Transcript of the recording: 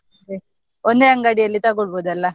ಅದೇ, ಒಂದೇ ಅಂಗಡಿಯಲ್ಲಿ ತೊಗೊಳ್ಬೋದಲ್ಲ.